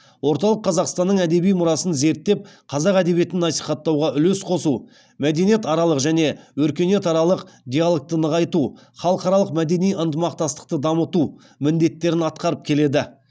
орталық қазақстанның әдеби мұрасын зерттеп қазақ әдебиетін насихаттауға үлес қосу мәдениетаралық және өркениетаралық диалогты нығайту халықаралық мәдени ынтымақтастықты дамыту міндеттерін атқарып келеді